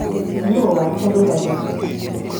nũ watarũra gĩtĩ